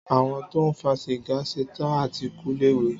Àwón tọ ń fà sígà sẹtàn àtí kú lẹwé.